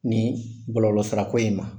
Nin bɔlɔlɔsirako in ma